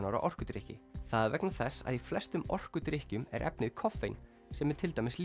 ára orkudrykki það er vegna þess að í flestum orkudrykkjum er efnið koffein sem er til dæmis